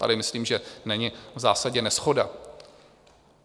Tady myslím, že není v zásadě neshoda.